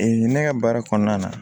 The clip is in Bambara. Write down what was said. ne ka baara kɔnɔna na